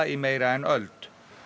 í meira en öld